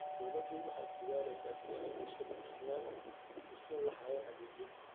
Dawladdu waxay ku dadaalaysaa sidii ay bulshada u siin lahayd adeegyo wanaagsan.